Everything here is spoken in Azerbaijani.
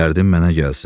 Dərdim mənə gəlsin.